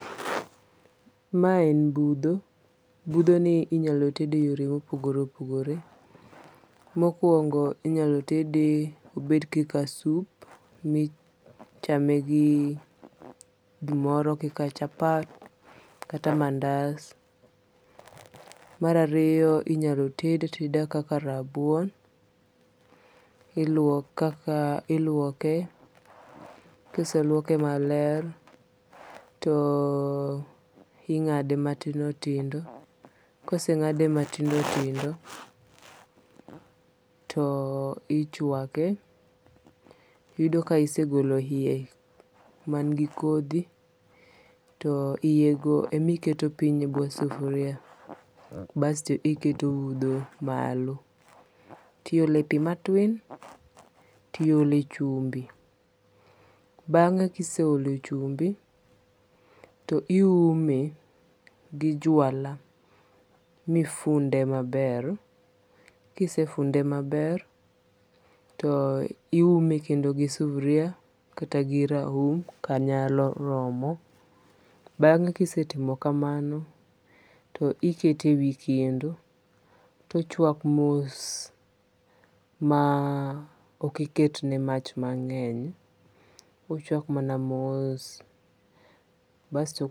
Ma en budho. Budho ni inyalo tede e yore mopogore oipogore. Mokwongo inyalo tede obed kaka sup michame gi gimoro kaka chapat kata mandas. Mar ariyo inyalo tede ateda kaka rabuon. Iluoke. Kiseluoke maler to ing'ade matindo tindo. Koseng'ade matindo tindo to ichwake. Yudo ka isegolo yie man gi kodhi to iye go emiketo piny e bwo sufria basto iketo budho malo. Tiole pi matwin tiole chumbi. Bang'e kiseole chumbi toiume gi jwala mifunde maber. Kisefunde maber to iume kendo gi sufria kata gi raum kanyalo romo. Bang'e kisetimo kamano to iete e wi kendo tochwak mos ma okiketne mach mang'eny. Ochak mana mos. Basto.